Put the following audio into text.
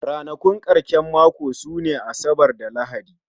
Ranakun karshen mako sune Asabar da Lahadi